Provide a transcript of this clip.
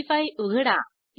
नवी फाईल उघडा